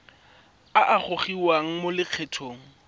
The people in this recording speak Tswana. a a gogiwang mo lokgethong